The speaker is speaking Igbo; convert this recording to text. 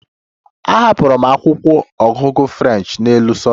Ahapụrụ m akwụkwọ ọgụgụ French n'elu sofa